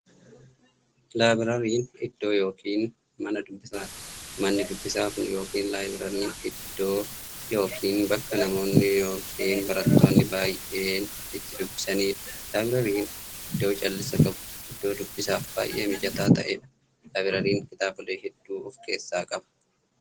Laabrariin iddoo yookiin Mana dubbisaati. Manni dubbisaa Kun yookiin laabrariin iddoo yookiin bakka namoonni yookiin baratoonni baay'een itti dubbisaniidha. Laabrariin iddoo callisa qabu, iddoo dubbisaaf baay'ee mijataa ta'eedha. Laabrariin kitaabolee hedduu of keessaa qaba.